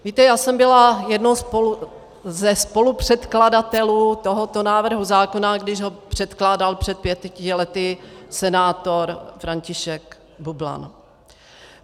Víte, já jsem byla jedním ze spolupředkladatelů tohoto návrhu zákona, když ho předkládal před pěti lety senátor František Bublan.